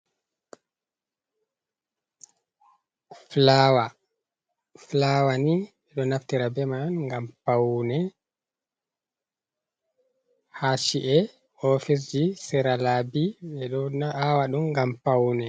Flawa flawa ni ɓe ɗo naftira be man ngam paune, ha chi'e, oficce ji, sera labi, ɓe ɗo awa ɗum ngam paune.